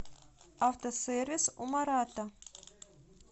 автосервис у марата